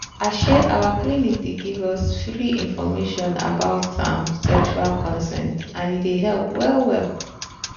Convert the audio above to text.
um our clinic dey give us free information about um sexual consent and e dey help well well.